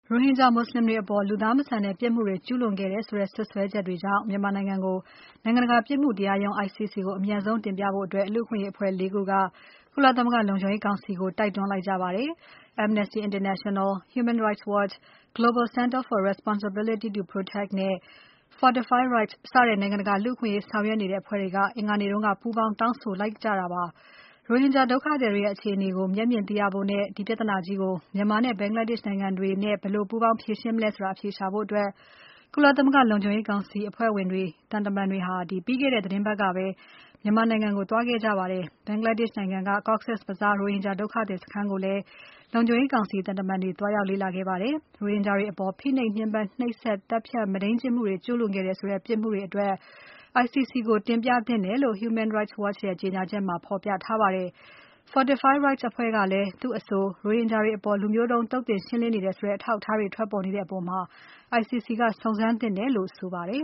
ရိုဟင်ဂျာမူဆလင်တွေအပေါ် လူသားမဆန်တဲ့ပြစ်မှုတွေ ကျူးလွန်ခဲ့တယ်ဆိုတဲ့ စွပ်စွဲချက်တွေကြောင့် မြန်မာကို နိုင်ငံတကာ ပြစ်မှုတရားရုံး ICC ကို အမြန်ဆုံး တင်ပြဖို့ လူ့အခွင့်အရေးအဖွဲ့ ၄ ခုက ကုလသမဂ္ဂလုံခြုံရေးကောင်စီကို တိုက်တွန်းလိုက်ကြပါတယ်။ Amnesty International, Human Rights Watch, Global Center for Responsibility to Protect နဲ့ Fortify Rights စတဲ့ နိုင်ငံတကာ လူ့အခွင့်အရေးဆောင်ရွက်နေကြတဲ့ အဖွဲ့တွေက အင်္ဂါနေ့က ပူးပေါင်း တောင်းဆိုလိုက်ကြတာဖြစ်ပါတယ်။ ရိုဟင်ဂျာဒုက္ခသည်တွေရဲ့ အခြေအနေကို မျက်မြင်သိရဖို့နဲ့ ဒီပြဿနာကြီးကို မြန်မာနဲ့ Bangladesh နိုင်ငံတွေနဲ့ ဘယ်လိုပူးပေါင်းဖြေရှင်းမလဲဆိုတာ အဖြေရှာဖို့ ကုလသမဂ္ဂလုံခြုံရေးကောင်စီအဖွဲ့ဝင်နိုင်ငံတွေက သံတမန်တွေဟာ ပြီးခဲ့တဲ့ သီတင်းပါတ်ကပဲ မြန်မာနိုင်ငံကို သွားခဲ့ကြပါတယ်။ Bangladesh နိုင်ငံက Cox’s Bazar ကရိုဟင်ဂျာဒုက္ခသည်စခန်းကိုလည်း လုံခြုံရေးကောင်စီသံတမန်တွေ သွား လေ့လာခဲ့ကြပါတယ်။ ရိုဟင်ဂျာတွေအပေါ် ဖိနှိပ်၊ ညှင်းပန်းနှိပ်စက်၊ သတ်ဖြတ်၊ မုဒိန်းကျင့်မှုတွေ ကျူးလွန်ခဲ့တယ်ဆိုတဲ့ ပြစ်မှုတွေအတွက် ICC ကို တင်ပြသင့်တယ်လို့ Human Rights Watch ရဲ့ကြေညာချက်မှာ ဖော်ပြထားပါတယ်။ Fortify Rights အဖွဲ့ကလည်း သူ့အဆို ရိုဟင်ဂျာတွေအပေါ် လူမျိုးတုံးသုတ်သင်ရှင်းလင်းနေတယ်ဆိုတဲ့ အထောက်အထားတွေထွက်ပေါ်နေတဲ့အပေါ် ICC ကစုံစမ်းသင့်တယ်လို့ဆိုပါတယ်